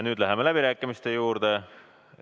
Nüüd läheme läbirääkimiste juurde.